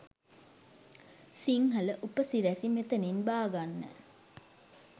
සිංහල උපසිරැසි මෙතනින් බාගන්න